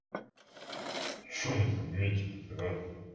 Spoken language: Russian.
что мы там метим то а